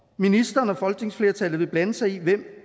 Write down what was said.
ministeren og folketingsflertallet vil blande sig i hvem